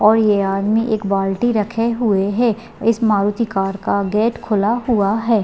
और यह आदमी एक बाल्टी रखे हुई है इस मारुती कार का गेट खुला हुआ है ।